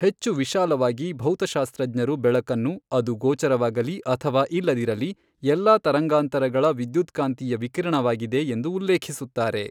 ಹೆಚ್ಚು ವಿಶಾಲವಾಗಿ, ಭೌತಶಾಸ್ತ್ರಜ್ಞರು ಬೆಳಕನ್ನು, ಅದು ಗೋಚರವಾಗಲಿ ಅಥವಾ ಇಲ್ಲದಿರಲಿ, ಎಲ್ಲಾ ತರಂಗಾಂತರಗಳ ವಿದ್ಯುತ್ಕಾಂತೀಯ ವಿಕಿರಣವಾಗಿದೆ ಎಂದು ಉಲ್ಲೇಖಿಸುತ್ತಾರೆ.